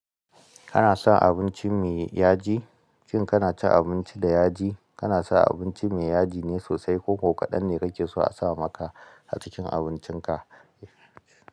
Kana son abinci me yaji? Shin kana cin abinci da yaji? Kana son abinci me yaji ne sosai ko ko kaɗan ne kake so a sa maka a cikin abincinka?